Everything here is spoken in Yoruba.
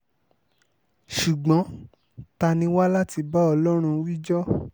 ṣùgbọ́n ta ni wá láti bá ọlọ́run wíjọ́